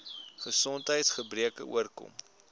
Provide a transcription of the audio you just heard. gesondheids gebreke oorkom